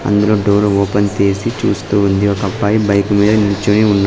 అందులో door open చేసి చూస్తూ ఉంది ఒక అబ్బాయి బైక్ మీద నుంచుని ఉన్నా --